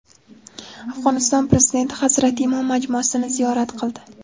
Afg‘oniston Prezidenti Hazrati Imom majmuasini ziyorat qildi.